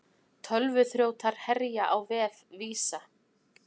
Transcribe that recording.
Tölvuþrjótar herja á vef Visa